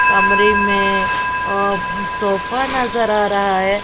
कमरे में सोफा नजर आ रहा है।